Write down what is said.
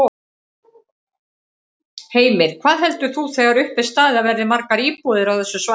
Heimir: Hvað heldur þú þegar upp er staðið að verði margar íbúðir á þessu svæði?